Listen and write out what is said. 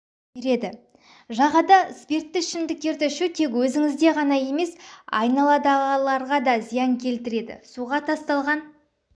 береді жағада спиртті ішімдіктерді ішу тек өзіңізде ғана емес аналадағыларға да зиян келтіреді суға тасталған